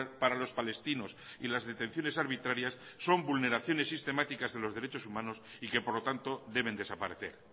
para los palestinos y las detenciones arbitrarias son vulneraciones sistemáticas de los derechos humanos y que por lo tanto deben desaparecer